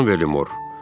Hə, xanım Bellimor?